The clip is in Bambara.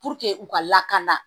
u ka lakana